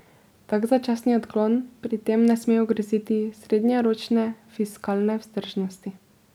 Tak začasni odklon pri tem ne sme ogroziti srednjeročne fiskalne vzdržnosti.